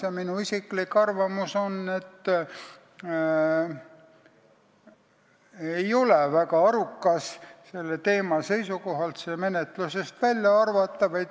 Ja minu isiklik arvamus on, et ei ole väga arukas seda eelnõu selle teema seisukohalt menetlusest välja arvata.